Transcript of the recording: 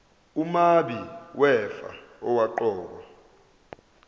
umabi wefa owaqokwa